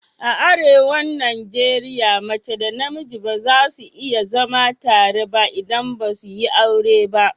A arewan Najeriya mace da namiji ba za su iya zama tare ba idan basu yi aure juna ba